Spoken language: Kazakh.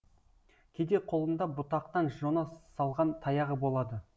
кейде қолында бұтақтан жона салған таяғы болады